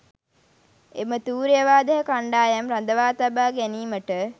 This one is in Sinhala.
එම තූර්ය වාදක කණ්ඩායම් රඳවා තබා ගැනීමට